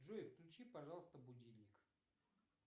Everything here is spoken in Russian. джой включи пожалуйста будильник